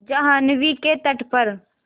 जाह्नवी के तट पर